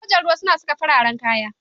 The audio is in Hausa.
Sojan ruwa suna saka fararen kaya.